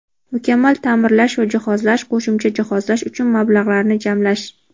mukammal taʼmirlash va jihozlash (qo‘shimcha jihozlash) uchun mablag‘larni jamlash;.